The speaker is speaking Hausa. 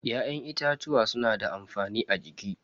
Ya'yan itatuwa suna da amfani a jiki.